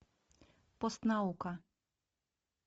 постнаука